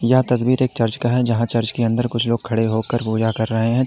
यह तस्वीर एक चर्च का है जहां चर्च के अंदर कुछ लोग खड़े होकर पूजा कर रहे हैं।